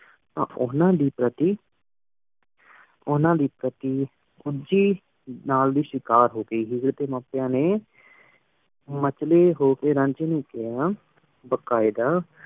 ਤਾਂ ਉਨਾ ਦੀ ਪਾਰਟੀ ਉਨਾ ਦੇ ਪਾਰਟੀ ਸੂਜੀ ਨਾਲ ਹੇ ਸ਼ਾਕਰ ਹੂ ਗਈ ਹੇਅਰ ਡੀ ਮੰਪੇਯਾਂ ਨੀ ਮਛਲੀ ਹੂ ਕੀ ਰੰਜੀ ਨੂ ਕੇਹਾ ਬਕੇਦਾ